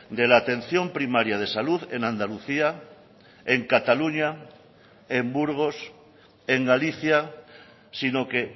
de la atención primaria de salud en andalucía en cataluña en burgos en galicia sino que